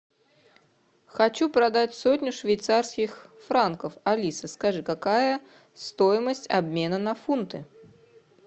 хочу продать сотню швейцарских франков алиса скажи какая стоимость обмена на фунты